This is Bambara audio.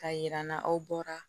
K'a jira n'a aw bɔra